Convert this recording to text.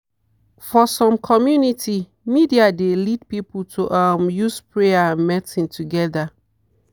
for some community media dey lead people to um use prayer and medicine together.